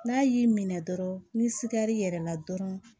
N'a y'i minɛ dɔrɔn ni sigar'i yɛrɛ la dɔrɔn